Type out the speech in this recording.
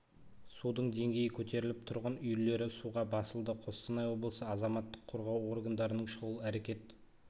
судың деңгейі көтеріліп тұрғын үйлері суға басылды қостанай облысы азаматтық қорғау органдарының шұғыл әрекет